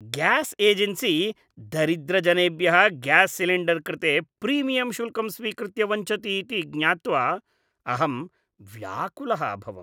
Gas agency दरिद्रजनेभ्यः gas cylinder कृते premium शुल्कं स्वीकृत्य वञ्चति इति ज्ञात्वा अहं व्याकुलः अभवम्।